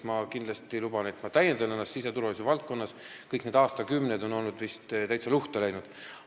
Ma kindlasti luban, et ma täiendan ennast siseturvalisuse valdkonnas, kõik need aastakümned on vist täitsa luhta läinud.